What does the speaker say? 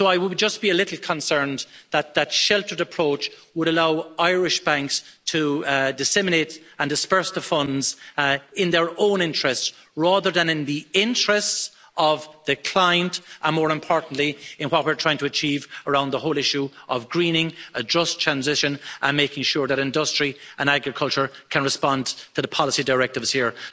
So I would just be a little concerned that that sheltered approach would allow Irish banks to disseminate and disburse the funds in their own interests, rather than in the interests of the client and, more importantly, in what we're trying to achieve around the whole issue of greening, a just transition, and making sure that industry and agriculture can respond to the policy directives here.